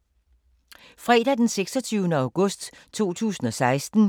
Fredag d. 26. august 2016